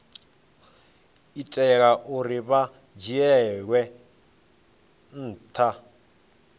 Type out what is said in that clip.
itela uri hu dzhielwe nha